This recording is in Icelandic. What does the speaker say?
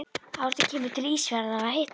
Árni kemur til Ísafjarðar að hitta okkur.